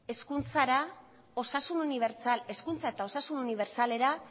hezkuntza eta osasun unibertsalera